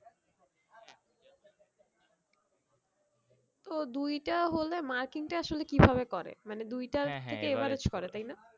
তো দুই টা হলে marking টা আসলে কি ভাবে করে মানে দুই টার থেকে average করে তাই না?